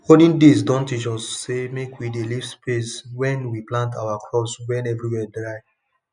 olden days don teach us say make we dey leave space when we plant our crops when everywhere dry